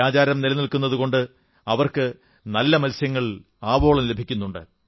ഈ ആചാരം നിലനിൽക്കുന്നതുകൊണ്ടാണ് അവർക്ക് നല്ല മത്സ്യങ്ങൾ ആവോളം ലഭിക്കുന്നത്